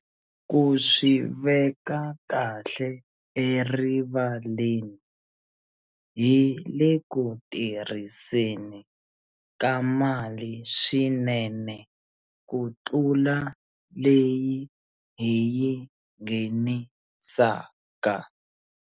Ku swi veka kahle erivaleni, hi le ku tirhiseni ka mali swinene kutlula leyi hi yi nghenisaka.